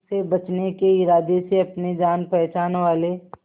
उसे बचने के इरादे से अपने जान पहचान वाले